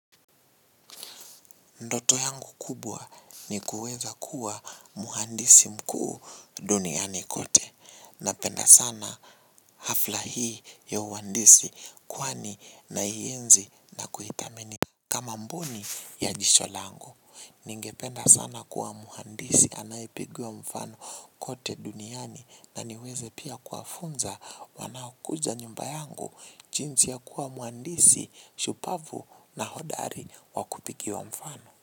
Ndoto yangu kubwa ni kuweza kuwa mhandisi mkuu duniani kote. Napenda sana hafla hii ya uhandisi kwani naienzi na kuithamini. Kama mboni ya jicho langu. Ningependa sana kuwa mhandisi anayepigiwa mfano kote duniani. Na niweze pia kuwafunza wanaokuja nyumba yangu. Jinsi ya kuwa mhandisi, shupavu na hodari wa kupigiwa mfano.